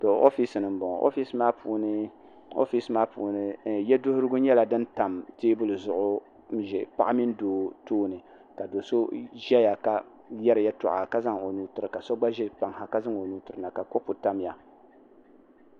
o ƒɛsini n boŋɔ oƒɛsimaa puuni yɛduhirigu nyɛla din tam tɛbuli zuɣ' n ʒɛ paɣ' mini do tuuni ka do so ʒɛya ka yɛriyɛtuɣ' ka zaŋ nuu tɛri ka so gba ʒɛya ka gba zaŋ o nuu tɛrina ka kupu tamiya